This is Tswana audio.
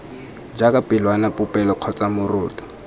jaaka pelwana popelo kgotsa moroto